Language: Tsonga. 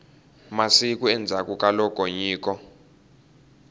masiku endzhaku ka loko nyiko